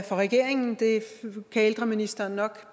for regeringen det kan ældreministeren nok